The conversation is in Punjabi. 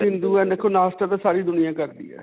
ਸਾਰੀ ਦੁਨਿਆ ਕਰਦੀ ਹੈ.